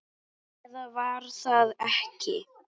Eða var það ekki?